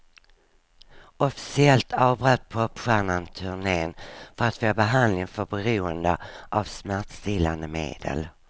Officiellt avbröt popstjärnan turnen för att få behandling för beroende av smärtstillande medel.